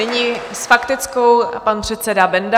Nyní s faktickou pan předseda Benda.